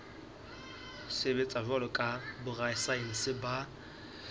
sebetsa jwalo ka borasaense ba